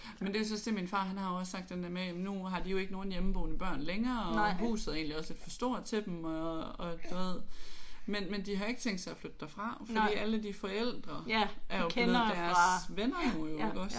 Men det var jo så også det min far han har jo også sagt den der med at jamen nu har de jo ikke nogen hjemmeboende børn længere og huset er egentlig også lidt for stort til dem og og du ved men men de har ikke tænkt sig at flytte derfra fordi alle de forældre er jo blevet deres venner nu jo iggås?